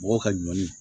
Mɔgɔw ka ɲɔn